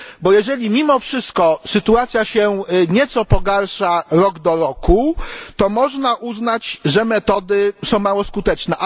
Bo jeżeli mimo wszystko sytuacja się nieco pogarsza rok do roku, to można uznać, że metody są mało skuteczne.